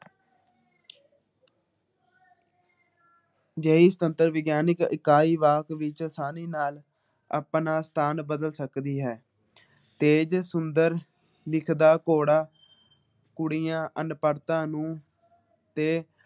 ਜਿਹੜੀ ਸੁਤੰਤਰ ਵਿਗਿਆਨਿਕ ਇਕਾਈ ਵਾਕ ਵਿੱਚ ਸਾਰੀ ਨਾਲ ਆਪਣਾ ਸਥਾਨ ਬਦਲ ਸਕਦੀ ਹੈ । ਤੇਜ ਸੁੰਦਰ ਲਿਖਦਾ ਘੋੜਾ ਕੁੜੀਆਂ ਅਨਪੜਤਾ ਨੂੰ ਤੇ